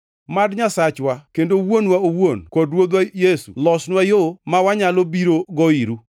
Mad Nyasachwa kendo Wuonwa owuon, kod Ruodhwa Yesu, losnwa yo ma wanyalo birogo iru.